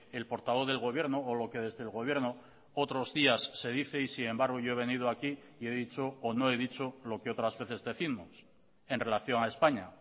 el portavoz del gobierno o lo que desde el gobierno otros días se dice y sin embargo yo he venido aquí y he dicho o no he dicho lo que otras veces décimos en relación a españa